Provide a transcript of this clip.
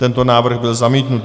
Tento návrh byl zamítnut.